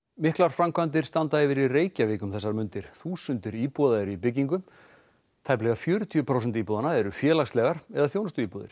miklar framkvæmdir standa yfir í Reykjavík um þessar mundir þúsundir íbúða eru í byggingu tæplega fjörutíu prósent íbúðanna eru félagslegar eða þjónustuíbúðir